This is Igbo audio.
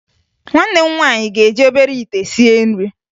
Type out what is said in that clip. Nwanne m nwaanyị ga-eji obere ite sie nri